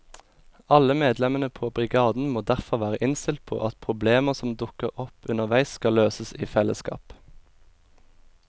Alle medlemmene på brigaden må derfor være innstilt på at problemer som dukker opp underveis skal løses i fellesskap.